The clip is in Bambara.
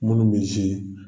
Minnu bɛ